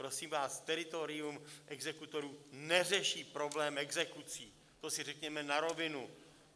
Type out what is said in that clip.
Prosím vás, teritorium exekutorů neřeší problém exekucí, to si řekněme na rovinu.